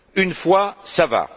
Une fois, ça va.